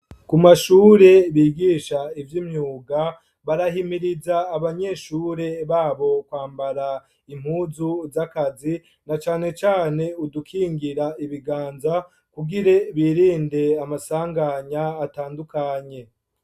Ku mashure, bigisha ivy'imyuga, barahimiriza, abanyeshure babo, kwambara impuzu z'akazi, na cane cane, udukingira ibiganza, kugire, birinde amasanganya, atandukanye.